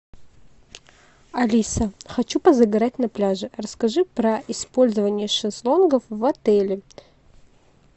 алиса хочу позагорать на пляже расскажи про использование шезлонгов в отеле